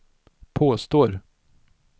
påstår